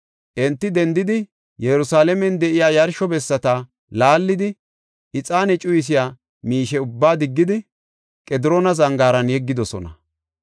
Enti dendidi, Yerusalaamen de7iya yarsho bessata laallidi, ixaane cuyisiya miishe ubbaa diggidi, Qediroona Zangaaran yeggidosona.